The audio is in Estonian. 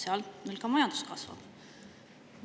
Seal neil ka majandus kasvab.